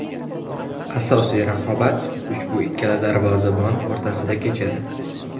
Asosiy raqobat ushbu ikkala darvozabon o‘rtasida kechadi.